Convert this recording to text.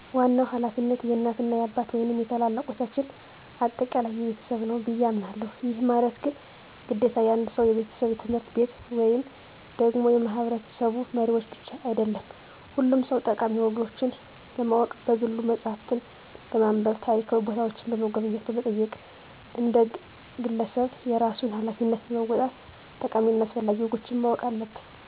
ዋናው ሀላፊነት የእናት እና የአባት ወይንም የታላላልቆቻችን አጠቃላይ የቤተሰብ ነው ብየ አሞናለሁ። ይህ ማለት ግን ግዴታ የአንድ ሰው፣ የቤተሰብ፣ የትምህርት ቤት ወይም ደግሞ የማህበረሰቡ መሪዎች ብቻ አይደለም ሁሉም ሰው ጠቃሚ ወጎችን ለማወቅ በግሉ መፅሃፍትን በማንብ፣ ታሪካዊ ቦታዎችን በመጎብኘት በመጠየቅ አንድ ግለሰብ የራሱን ሀላፊነት በመወጣት ጠቃሚ እና አስፈላጊ ወጎችን ማወቅ አለበት።